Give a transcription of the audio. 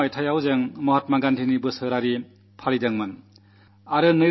1969 ൽ നാം മഹാത്മാഗാന്ധിയുടെ ജന്മശതാബ്ദി ആഘോഷിച്ചിരുന്നു